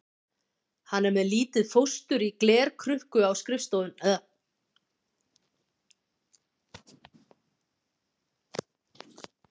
Hann er með lítið fóstur í glerkrukku á stofunni.